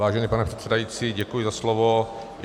Vážený pane předsedající, děkuji za slovo.